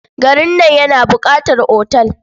Garin nan yana buƙatar otal.